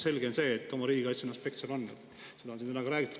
Selge on see, et oma riigikaitseaspekt seal on, seda on siin täna ka korduvalt räägitud.